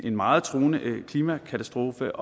en meget truende klimakatastrofe